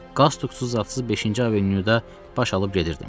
Qastuksuz zadsız beşinci avenyuda baş alıb gedirdim.